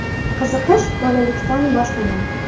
Qiziqish bolalikdan boshlanadi.